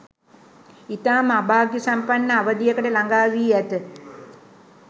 ඉතාම අභාග්‍යසම්පන්න අවධියකට ළගා වී ඇත.